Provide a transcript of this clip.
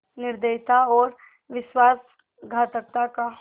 निर्दयता और विश्वासघातकता का